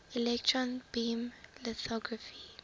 electron beam lithography